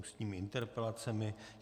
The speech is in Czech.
Ústní interpelace